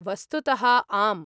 वस्तुतः आम्।